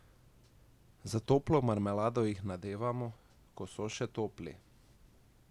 S toplo marmelado jih nadevamo, ko so še topli.